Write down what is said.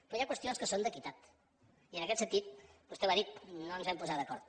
però hi ha qüestions que són d’equitat i en aquest sentit vostè ho ha dit no ens vam posar d’acord